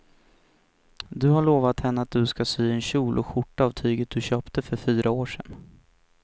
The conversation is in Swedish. Du har lovat henne att du ska sy en kjol och skjorta av tyget du köpte för fyra år sedan.